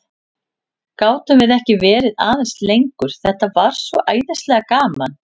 Gátum við ekki verið aðeins lengur, þetta var svo æðislega gaman?